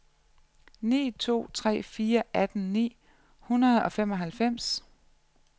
ni to tre fire atten ni hundrede og femoghalvfems